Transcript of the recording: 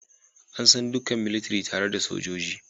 An san dukan militiri tare da "Sojoji"